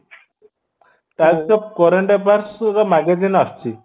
type ର current affairs ର magazine ଆସୁଛି